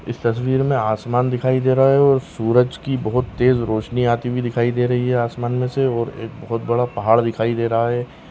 इस तस्वीर मे आसमान दिखाई दे रहा है और सूरज की बहोत तेज रोशनी आती हुई दिखाई दे रही है आसमान मे से और एक बहोत बड़ा पहाड़ दिखाई दे रहा है।